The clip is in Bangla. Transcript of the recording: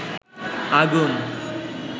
আগুন